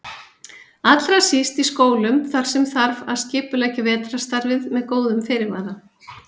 Allra síst í skólum þar sem þarf að skipuleggja vetrarstarfið með góðum fyrirvara.